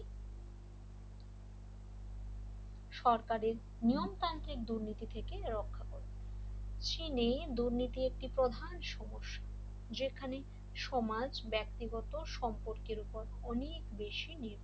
সরকার এর নিয়ম তান্ত্রিক দুর্নীতি থেকে রক্ষা করবে চীনে দুর্নীতি একটি প্রধান সমস্যা যেখানে সমাজ ব্যক্তিগত সম্পর্কের উপর অনেক বেশি নির্ভর